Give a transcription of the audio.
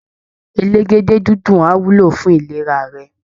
Elégédé-dídùn á wúlò fún ìlera rẹ